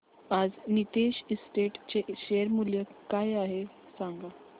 आज नीतेश एस्टेट्स चे शेअर मूल्य किती आहे सांगा